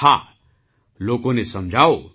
હા લોકોને સમજાવો